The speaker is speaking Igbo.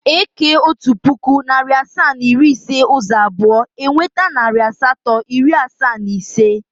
E kee otu puku, narị asaa na iri ise ụzọ abụọ, e nweta narị asatọ, iri asaa na ise.